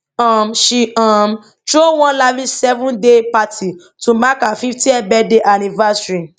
um she um throw one lavish seven day party to mark her fiftieth birthday anniversary